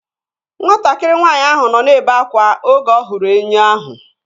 Nwatakịrị nwaanyị ahụ nọ na-ebe akwa oge ọ hụrụ enwe ahụ